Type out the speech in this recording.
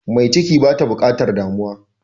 Mai ciki bata bukatar damuwa.